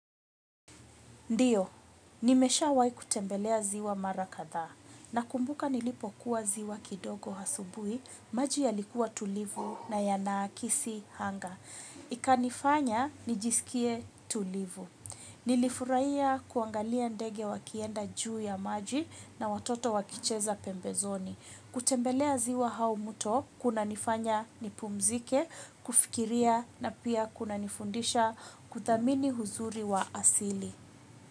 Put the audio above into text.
Ndio, nimeshawai kutembelea ziwa mara kadhaa nakumbuka nilipokuwa ziwa kidogo asubuhi, maji yalikuwa tulivu na yanaakisi anga. Ikanifanya, nijisikie tulivu. Nilifurahia kuangalia ndege wakienda juu ya maji na watoto wakicheza pembezoni. Kutembelea ziwa au mto, kunanifanya nipumzike, kufikiria na pia kunanifundisha kuthamini uzuri wa asili.